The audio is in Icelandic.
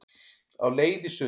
Á leið í sund